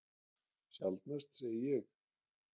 Sjaldnast, segi ég.